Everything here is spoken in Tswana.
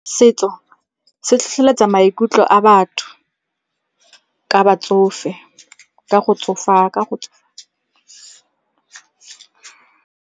Setso se tlhotlheletsa maikutlo a batho ka batsofe, ka go .